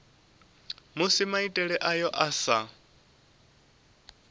musi maitele ayo a sa